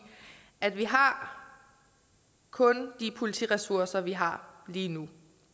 at vi kun de politiressourcer vi har lige nu